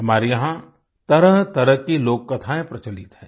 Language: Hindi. हमारे यहाँ तरहतरह की लोककथाएं प्रचलित हैं